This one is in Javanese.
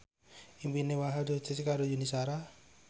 impine Wahhab diwujudke karo Yuni Shara